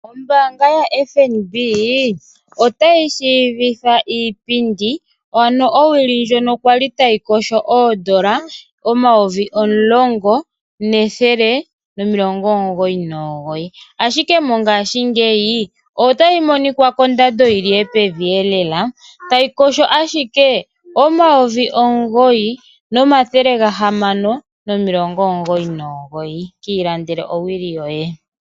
Ombaanga ya Fnb oatayi tseyitha iipi.